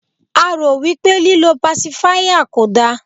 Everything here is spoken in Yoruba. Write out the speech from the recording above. a ro wipe líloo pasifia kò da